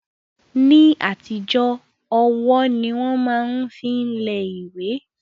Ní àtijọ́ ọwọ́ ni wọ́n máa ń fi lẹ ìwé